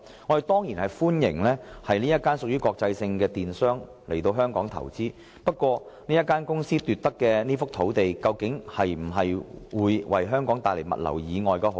我們當然歡迎這家國際性商業機構來港投資，然而，由這個財團投得的這幅用地，究竟將來會否為香港帶來物流以外的好處？